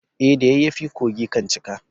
Eh, da yayyafi kogi kan cika.